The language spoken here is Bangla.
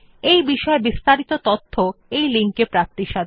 এই বিষয় বিস্তারিত তথ্য এই লিঙ্ক এ প্রাপ্তিসাধ্য